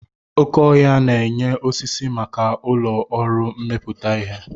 Oké ọhia na-enye osisi maka ụlọ ọrụ mmepụta ihe.